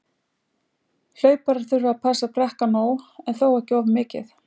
Hlauparar þurfa að passa að drekka nóg- en þó ekki of mikið.